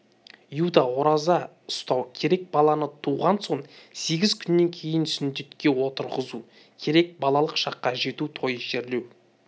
иудей ораза ұстау керек баланы туған соң сегіз күннен кейін сүндетке отырғызу керек балалық шаққа жету тойы жерлеу